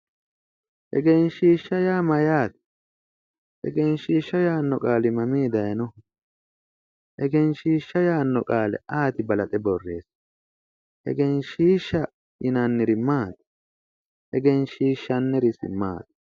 Egenshiisha yaa mayaate egenshiisha yaano qaali mami dayinoho egenshiisha yaano qaale ayeeti balaxe boreessihu egenshiisha yinanniri maati egenshiishaniri isi maati